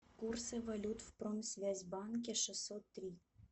курсы валют в промсвязьбанке шестьсот три